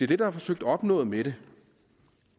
det der er forsøgt opnået med det